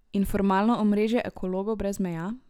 In formalno omrežje Ekologov brez meja?